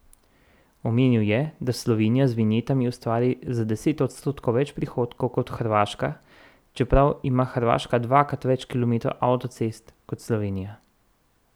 Omenil je, da Slovenije z vinjetami ustvari za deset odstotkov več prihodkov kot Hrvaška, čeprav ima Hrvaška dvakrat več kilometrov avtocest kot Slovenija.